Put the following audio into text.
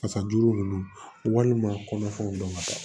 Fasajuru ninnu walima kɔnɔfɛnw don ka taa